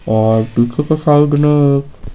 और पीछे के साइड में एक --